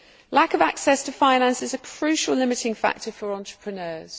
Lack of access to finance is a crucial limiting factor for entrepreneurs.